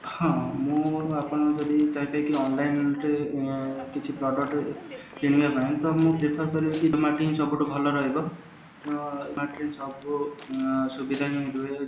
ହଁ ମୁଁ ଆପଣଙ୍କୁ ସେତିକି online କିଣିବା ପାଇଁ ସୁବିଧା ହିଁ